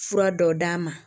Fura dɔ d'a ma